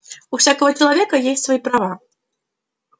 у всякого человека есть свои права